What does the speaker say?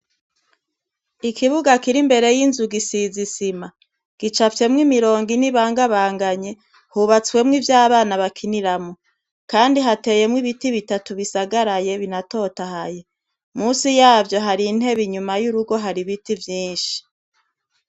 Ikibuga kiri imbere yinzu gisize isima gicafyemwo imirongo ine ibangabanganye hubatsemwo ivyabana bakiniramwo, kandi hateyemwe ibiti bitatu bisagaraye binatotahaye munsi yavyo hari intebe inyuma yurugo hari biti vyinshi.